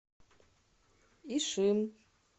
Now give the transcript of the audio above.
ишим